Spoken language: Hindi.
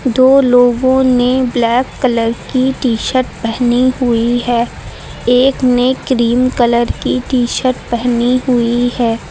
दो लोगों ने ब्लैक कलर की टी-शर्ट पहनी हुई है। एक ने क्रीम कलर की टी-शर्ट पहनी हुई है।